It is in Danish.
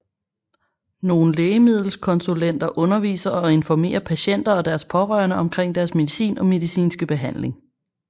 Nogle lægemiddelkonsulenter underviser og informerer patienter og deres pårørende omkring deres medicin og medicinske behandling